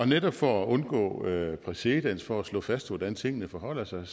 netop for at undgå præcedens og for at slå fast hvordan tingene forholder sig